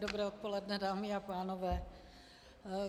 Dobré odpoledne, dámy a pánové.